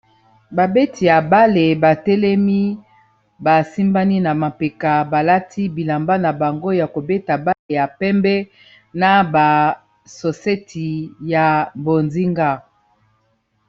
Babeti ya bale batelemi basimbani na mapeka balati bilamba na bango ya kobeta bale ya pembe na basoseti ya bozinga